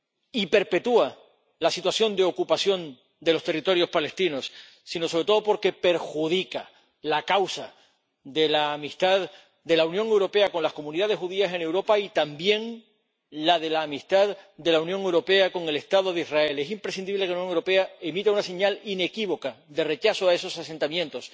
y perpetúa la situación de ocupación de los territorios palestinos, sino, sobre todo, porque perjudica la causa de la amistad de la Unión Europea con las comunidades judías en Europa y, también, la de la amistad de la Unión Europea con el Estado de Israel. Es imprescindible que la Unión Europea emita una señal inequívoca de rechazo a esos asentamientos